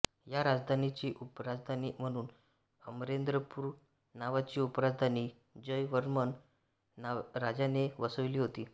या राजधानीची उपराजधानी म्हणून अमरेंद्रपूर नावाची उपराजधानी जयवर्मन राजाने वसविली होती